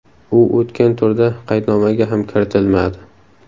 U o‘tgan turda qaydnomaga ham kiritilmadi.